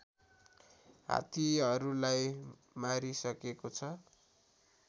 हात्तीहरूलाई मारिसकेको छ